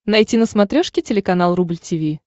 найти на смотрешке телеканал рубль ти ви